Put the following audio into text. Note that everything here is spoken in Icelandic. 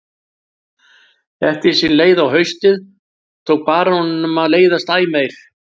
Eftir því sem leið á haustið tók baróninum að leiðast æ meir.